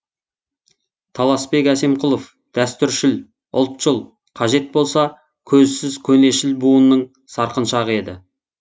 таласбек әсемқұлов дәстүршіл ұлтшыл қажет болса көзсіз көнешіл буынның сарқыншағы еді